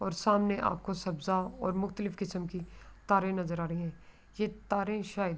اور سامنے آپکو سبجا اور مختلف کسم کے تارے نظر آ رہے ہے۔ یہ تارے شاید--